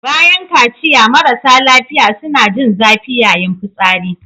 Bayan kaciya marasa lafiya suna jin zafi yayin fitsari.